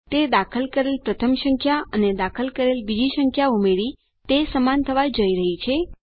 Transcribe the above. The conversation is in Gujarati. તે દાખલ કરેલ પ્રથમ સંખ્યા અને દાખલ કરેલ બીજી સંખ્યામાં ઉમેરી તે સમાન થવા જઈ રહી છે